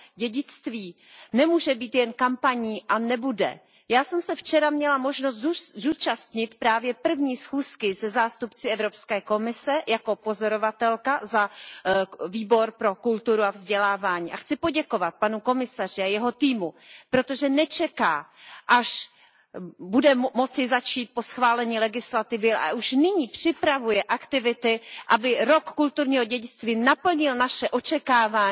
dědictví nemůže být jen kampaní a také nebude. Já jsem se včera měla možnost zúčastnit právě první schůzky se zástupci Evropské komise, jako pozorovatelka za Výbor pro kulturu a vzdělávání. Chci poděkovat panu komisaři a jeho týmu, protože nečeká, až bude moci začít po schválení legislativy, ale už nyní připravuje aktivity, aby rok kulturního dědictví naplnil naše očekávání